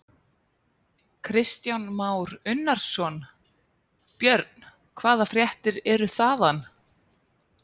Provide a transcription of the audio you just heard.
Kristján Már Unnarsson: Björn, hvaða fréttir eru þaðan?